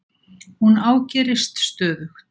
Hún ágerist stöðugt.